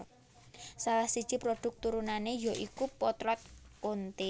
Salah siji prodhuk turunane ya iku potlot Konte